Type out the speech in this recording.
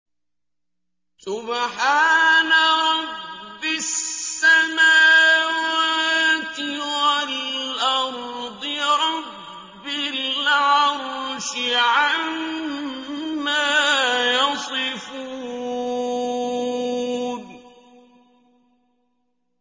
سُبْحَانَ رَبِّ السَّمَاوَاتِ وَالْأَرْضِ رَبِّ الْعَرْشِ عَمَّا يَصِفُونَ